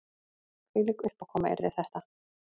Hvílík uppákoma yrði þetta